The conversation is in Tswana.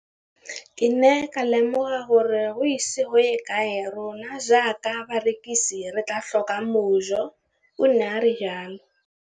Ke ne ka lemoga gore go ise go ye kae rona jaaka barekise re tla tlhoka mojo, o ne a re jalo.